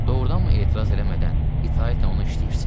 Doğurdanmı etiraz eləmədən itaətlə ona işləyirsiz?